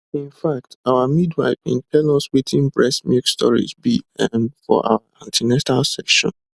in fact our midwife been tell us wetin breast milk storage be ehm for our an ten atal sessions